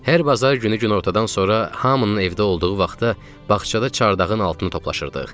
Hər bazar günü günortadan sonra hamının evdə olduğu vaxtda bağçada çardağın altını toplaşırdıq.